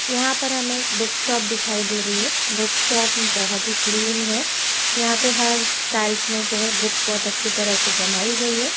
यहां पर हमें एक बुक शॉप दिखाई दे रही है। बुक शॉप बोहोत ही क्लीन है। यहां पर हर शेल्फ में जो है बुक्स बहोत अच्छी तरह से जमाई गई है।